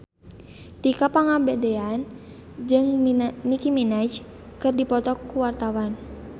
Tika Pangabean jeung Nicky Minaj keur dipoto ku wartawan